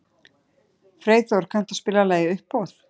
Freyþór, kanntu að spila lagið „Uppboð“?